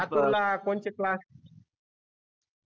लातूरला कोणते क्लास